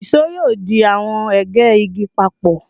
ìṣó yoo di awọn ege igi papọ